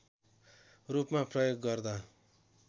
रूपमा प्रयोग गर्दा